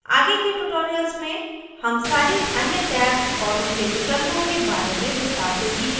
आगे के tutorials में हम सारी अन्य tabs और उनके विकल्पों के बारे में विस्तार से सीखेंगे